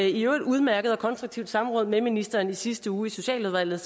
et i øvrigt udmærket og konstruktivt samråd med ministeren i sidste uge i socialudvalget